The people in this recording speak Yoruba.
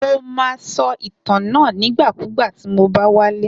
Mo ma so ìtàn náà nígbàkúgbà tí mo bá wálé.